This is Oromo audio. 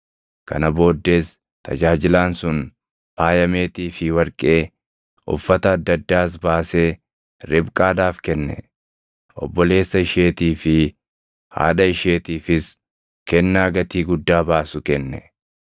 Kana booddees tajaajilaan sun faaya meetii fi warqee, uffata adda addaas baasee Ribqaadhaaf kenne; obboleessa isheetii fi haadha isheetiifis kennaa gatii guddaa baasu kenne.